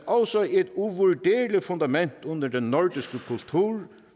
også et uvurderligt fundament under den nordiske kultur